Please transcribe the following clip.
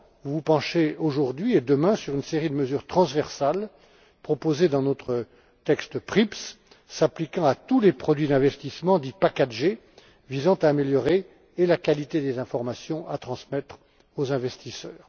vous vous penchez aujourd'hui et demain sur une série de mesures transversales, proposées dans notre texte PRIPS, s'appliquant à tous les produits d'investissement dits packagés, visant à améliorer la qualité des informations à transmettre aux investisseurs.